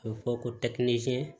A bɛ fɔ ko